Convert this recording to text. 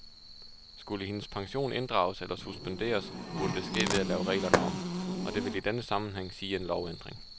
Skulle hendes pension inddrages eller suspenderes, burde det ske ved at lave reglerne om, og det vil i denne sammenhæng sige en lovændring.